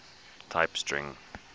type string